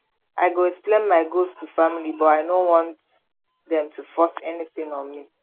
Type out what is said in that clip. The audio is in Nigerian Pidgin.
i go explain my goals to family but i no want dem to force anything on me